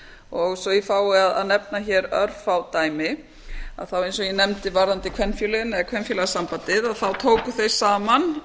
og svo ég fái að nefna örfá dæmi þá eins og ég nefndi varðandi kvenfélagið eða kvenfélagasambandið þá tóku þeir saman